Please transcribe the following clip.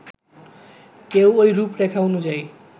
কেউ ওই রূপরেখা অনুযায়ী